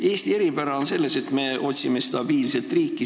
Eesti eripära on selles, et me otsime stabiilset riiki.